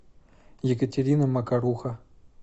екатерина макаруха